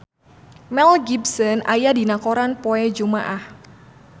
Mel Gibson aya dina koran poe Jumaah